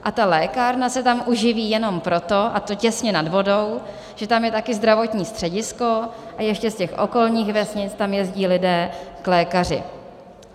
A ta lékárna se tam uživí jenom proto, a to těsně nad vodou, že tam je taky zdravotní středisko a ještě z těch okolních vesnic tam jezdí lidé k lékaři.